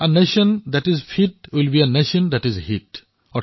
আ nation that is fit will be a nation that is hit